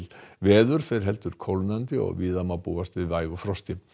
veður fer heldur kólnandi og víða má búast við vægu frosti